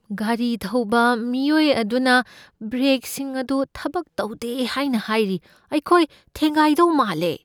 ꯒꯥꯔꯤ ꯊꯧꯕ ꯃꯤꯑꯣꯏ ꯑꯗꯨꯅ ꯕ꯭ꯔꯦꯛꯁꯤꯡ ꯑꯗꯨ ꯊꯕꯛ ꯇꯧꯗꯦ ꯍꯥꯏꯅ ꯍꯥꯏꯔꯤ꯫ ꯑꯩꯈꯣꯏ ꯊꯦꯡꯒꯥꯏꯗꯧ ꯃꯥꯜꯂꯦ꯫